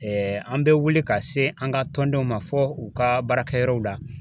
an bɛ wuli ka se an ka tɔndenw ma fɔ u ka baarakɛ yɔrɔw la.